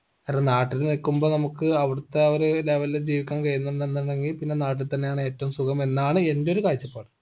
കാരണം നാട്ടില് നിക്കുമ്പോ നമുക്ക് അവിടുത്തെ ആ ഒരു level ജീവിക്കാൻ കഴിയുന്നുന്നുണ്ടെങ്കി പിന്നെ നാട്ടി തന്നെയാണ് ഏറ്റവും സുഖം എന്നാണ് എന്റൊരു കാഴ്ചപ്പാട്